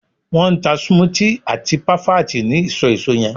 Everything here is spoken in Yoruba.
won n ta smoothie ati parfait ni iso eso yen